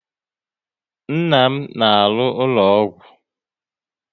Nna m na alụ n'ụlọ ọgwụ